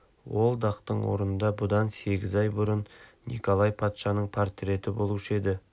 ол дақтың орнында бұдан сегіз ай бұрын николай патшаның портреті болушы еді